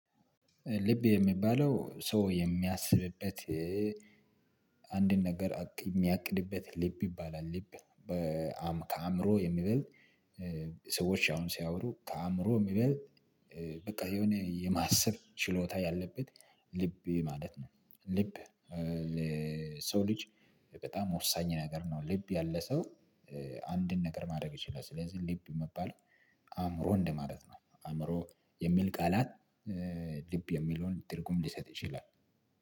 ልብ የሚባለው ሰው የሚያስብበት አንድን ነገር የሚያቅድበት ልብ ይባላል። ልብ ከአእምሮ የሚበልጥ ሰዎች አሁን ሲያወሩ ከአእምሮ የሚበልጥ በቃ የሆነ የማሰብ ችሎታ ያለበት ልብ ማለት ነው። ልብ ሰው ልጅ በጣም ወሳኝ ነገር ነው ልብ ያለ ሰው አንድን ነገር ማድረግ ይችላል። ስለዚህ ልብ መባል አእምሮ እንደማለት ነው አእምሮ የሚል ቃላት። ልብ የሚለውን ትርጉም ሊሰጥ ይችላል